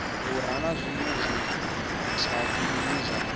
vhura na zwinwe zwithavhani zwa